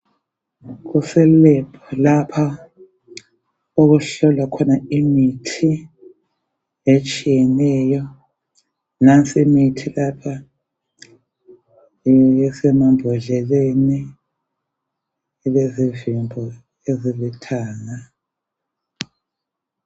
Kuse lab lapha okuhlala khona imithi etshiyeneyo nansi imithi lapha isemambodleleni ilezivimbo ezilithanga.